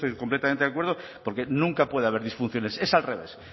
completamente de acuerdo porque nunca puede haber disfunciones es al revés